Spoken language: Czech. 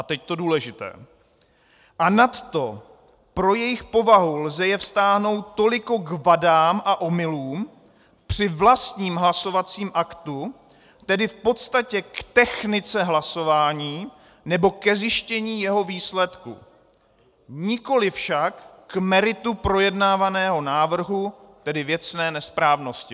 A teď to důležité: "A nadto pro jejich povahu lze je vztáhnout toliko k vadám a omylům při vlastním hlasovacím aktu, tedy v podstatě k technice hlasování nebo ke zjištění jeho výsledku, nikoli však k meritu projednávaného návrhu, tedy věcné nesprávnosti."